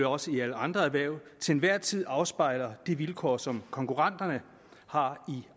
også i alle andre erhverv til hver en tid afspejler de vilkår som konkurrenterne har i